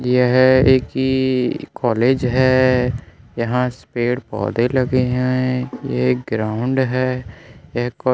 यह एक कॉलेज है यहां पेड़-पौधे लगे है एक ग्राउंड है यह क --